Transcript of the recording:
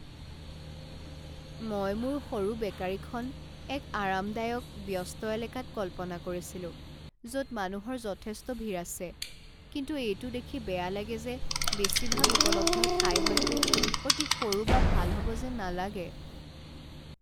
মই মোৰ সৰু বেকাৰীখন এক আৰামদায়ক, ব্যস্ত এলেকাত কল্পনা কৰিছিলো য'ত মানুহৰ যথেষ্ট ভিৰ আছে, কিন্তু এইটো দেখি বেয়া লাগে যে বেছিভাগ উপলব্ধ ঠাই হয়তো অতি সৰু বা ভাল হ'ব যেন নালাগে।